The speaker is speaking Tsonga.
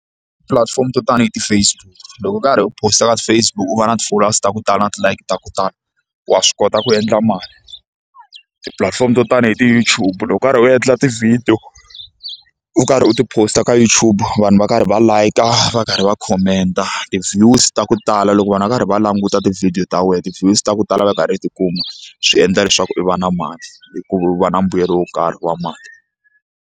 Tipulatifomo to tani hi ti-Facebook loko u karhi u post-a ka Facebook u va na ti-followers to tala ti-like ta ku tala wa swi kota ku endla mali tipulatifomo to tani hi ti-YouTube loko u karhi u endla tivhidiyo u karhi u ti post ka YouTube vanhu va karhi va like-a va karhi va comment ti-views ta ku tala loko vanhu va karhi va languta tivhidiyo ta wena ti-views ta ku tala va i karhi tikuma swi endla leswaku i va na mali hikuva u va na mbuyelo wo karhi wa mali.